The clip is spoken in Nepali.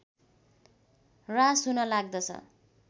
ह्रास हुन लाग्दछ